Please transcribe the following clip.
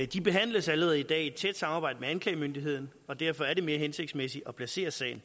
de behandles allerede i dag i et tæt samarbejde med anklagemyndigheden og derfor er det mere hensigtsmæssigt at placere sagerne